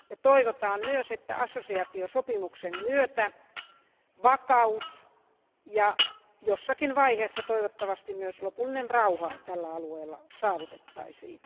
Toivotaan myös, että assosiaatiosopimuksen myötä vakaus ja jossakin vaiheessa toivottavasti myös lopullinen rauha tällä alueella saavutettaisiin.